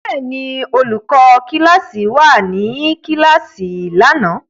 Bẹ́ẹ̀ ni, olùkọ́ kíláàsì wà ní kíláàsì lánàá.